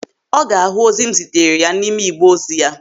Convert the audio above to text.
Ọ ga-ahụ ozi m zitere ya n'ime igbe ozi ya.